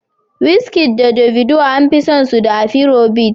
Wizkid da Davido an fi san su da afiro bit